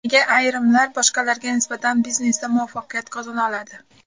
Nega ayrimlar boshqalarga nisbatan biznesda muvaffaqiyat qozona oladi?